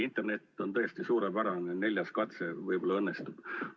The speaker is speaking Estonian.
Internet on tõesti suurepärane, neljas katse võib-olla õnnestub.